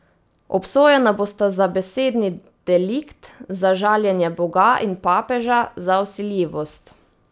Obsojena bosta za besedni delikt, za žaljenje boga in papeža, za vsiljivost.